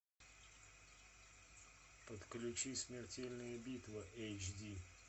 подключи смертельная битва эйч ди